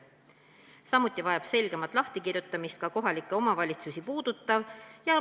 Samuti vajab selgemat lahtikirjutamist kohalikke omavalitsusi puudutav.